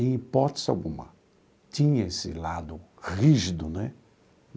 Em hipótese alguma, tinha esse lado rígido né.